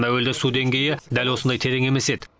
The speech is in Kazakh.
әуелде су деңгейі дәл осындай терең емес еді